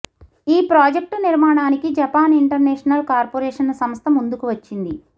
ఈ ప్రాజెక్టు నిర్మాణానికి Japan international corporation సంస్థ ముందుకు వచ్చింది